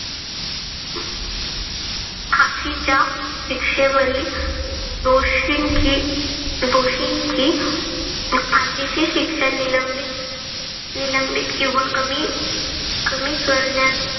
फाशीच्या शिक्षेवरील दोषींची दोषीची फाशीची शिक्षा निलंबित निलंबित किंवा कमी कमी करण्यास